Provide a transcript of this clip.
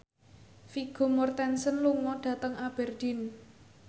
Vigo Mortensen lunga dhateng Aberdeen